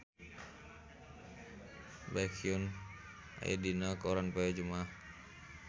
Baekhyun aya dina koran poe Jumaah